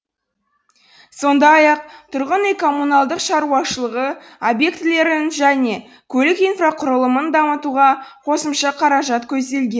сондай ақ тұрғын үй коммуналдық шаруашылығы объектілерін және көлік инфрақұрылымын дамытуға қосымша қаражат көзделген